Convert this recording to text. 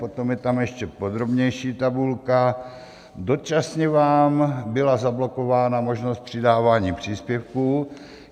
Potom je tam ještě podrobnější tabulka: dočasně vám byla zablokována možnost přidávání příspěvků.